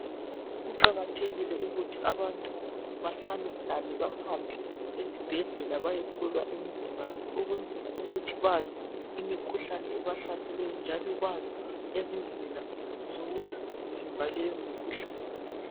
Kuqakathekike ukuthi abantu bahlalahlale bahambe ezibhedlela. Bayehlolwa imizimba yabo, njalo bazi ngezindlela zokuvimba keyomikhuhlane futhi.